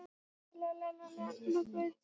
En hvaða áhrif hefur sápa í vatni?